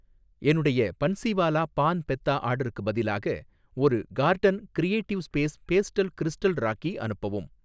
என்னுடைய பன்ஸிவாலா பான் பெத்தா ஆர்டருக்குப் பதிலாக ஒரு carton creative space pastel crystal rakhi அனுப்பவும்